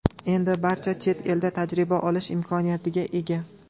Endi barcha chet elda tajriba olish imkoniyatiga ega.